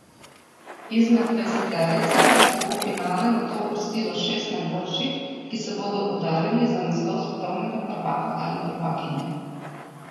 Izmed dvajseterice pa se bo v finale nato uvrstilo šest najboljših, ki se bodo udarili za naslov svetovnega prvaka ali prvakinje.